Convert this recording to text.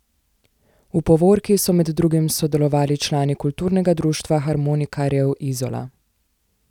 V povorki so med drugim sodelovali člani kulturnega društva harmonikarjev Izola.